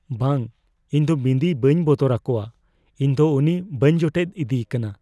ᱵᱟᱝ ! ᱤᱧ ᱫᱚ ᱵᱤᱱᱫᱤ ᱵᱟᱹᱧ ᱵᱚᱛᱚᱨ ᱟᱠᱚᱣᱟ ᱾ ᱤᱧ ᱫᱚ ᱩᱱᱤ ᱵᱟᱹᱧ ᱡᱚᱴᱮᱫ ᱤᱫᱤᱠᱟᱱᱟ ᱾